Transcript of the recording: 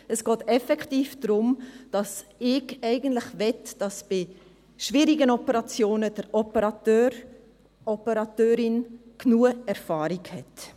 Es geht effektiv darum, dass ich eigentlich möchte, dass bei schwierigen Operationen der Operateur / die Operateurin genug Erfahrung hat.